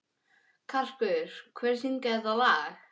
Karkur, hver syngur þetta lag?